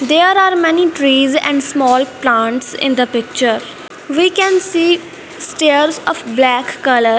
there are many trees and small plants in the picture we can see stairs of black colour.